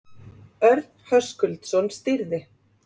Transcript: Örn Höskuldsson stýrði.